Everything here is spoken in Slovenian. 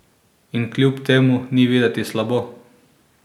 In kljub temu ni videti slabo!